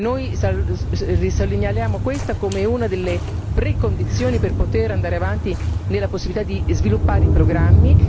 Noi risegnaliamo questa come una delle precondizioni per poter andare avanti nella possibilità di sviluppare i programmi.